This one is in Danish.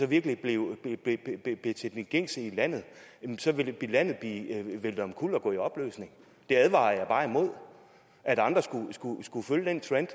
virkelig blev til det gængse i landet ville landet blive væltet omkuld og gå i opløsning jeg advarer bare imod at andre skulle følge den trend